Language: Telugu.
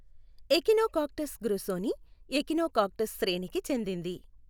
ఎఖినోకాక్టస్ గ్రుసోనీ ఎఖినోకాక్టస్ శ్రేణికి చెందింది.